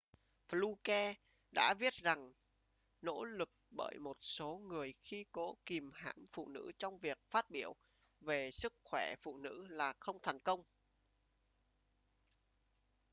fluke đã viết rằng nỗ lực bởi một số người khi cố kìm hãm phụ nữ trong việc phát biểu về sức khỏe phụ nữ là không thành công